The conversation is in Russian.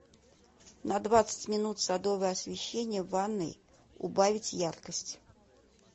на двадцать минут садовое освещение в ванной убавить яркость